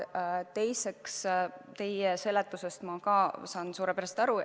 Teiseks, teie seletusest ma saan suurepäraselt aru.